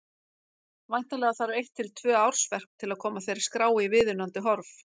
Væntanlega þarf eitt til tvö ársverk til að koma þeirri skrá í viðunandi horf.